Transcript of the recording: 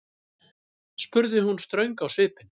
spurði hún ströng á svipinn.